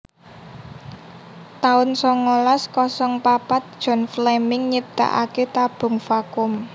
taun songolas kosong papat John Fleming nyiptakaké tabung vakum